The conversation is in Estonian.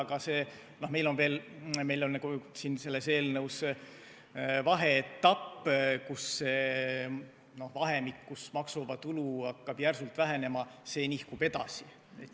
Aga meil on siin eelnõus nagu vaheetapp: vahemik, kus maksuvaba tulu hakkab järsult vähenema, nihkub edasi.